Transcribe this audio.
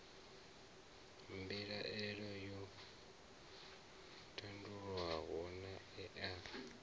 mbilaelo yo tandululwa naa ee